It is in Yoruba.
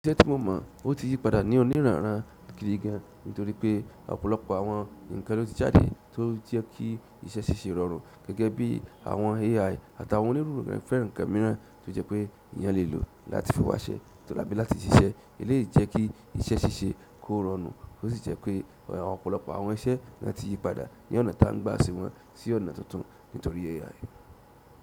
Iṣẹ́ tí mo mọ̀ ó ti yí padà ní òní ran ran gidi gan, nítorí pé ọ̀pọ̀lọpọ̀ àwọn ǹkan ló ti jáde tó jẹ́ kí iṣẹ́ ṣíṣe rọrùn gẹ́gẹ́ bí àwọn AI àtàwọn onírúuran fẹ́ ǹkan mìíràn tó jẹ́ pé èèyàn lè lò láti fi wáṣẹ́ tò àbí láti ṣiṣẹ́. Eleyii jẹ́ kí iṣẹ́ ṣíṣe kó rọrùn ó sì jẹ́ pé ọ̀pọ̀lọpọ̀ àwọn iṣẹ́ nà ti yí padà ní ọ̀nà ta ń gba ṣé wọ́n sí ọ̀nà tuntun nítorí AI.